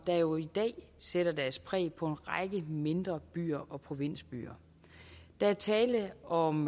der jo i dag sætter deres præg på en række mindre byer og provinsbyer der er tale om